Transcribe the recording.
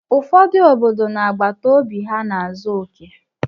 Ụfọdụ obodo na àgbàtà óbị ha n'azọ oke.